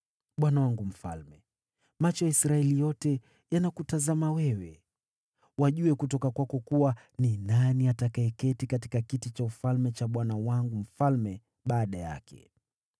Bwana wangu mfalme, macho ya Israeli yote yanakutazama wewe wajue kutoka kwako kuwa ni nani atakayeketi katika kiti cha ufalme cha bwana wangu mfalme baada yake.